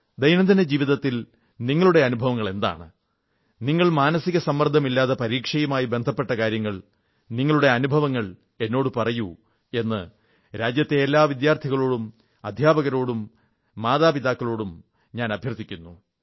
ദൈനംദിന ജീവിതത്തിൽ നിങ്ങളുടെ അനുഭവങ്ങളെന്താണ് നിങ്ങൾ മാനസിക സമ്മർദ്ദമില്ലാത്ത പരീക്ഷയുമായി ബന്ധപ്പെട്ട കാര്യങ്ങൾ നിങ്ങളുടെ അനുഭവങ്ങൾ എന്നോടു പറയൂ എന്ന് രാജ്യത്തെ എല്ലാ വിദ്യാർഥികളോടും അധ്യാപകരോടും മാതാപിതാക്കളോടും ഞാൻ അഭ്യർഥിക്കുന്നു